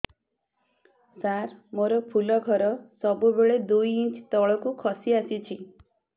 ସାର ମୋର ଫୁଲ ଘର ସବୁ ବେଳେ ଦୁଇ ଇଞ୍ଚ ତଳକୁ ଖସି ଆସିଛି